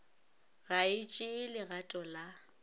ga e tšee legato la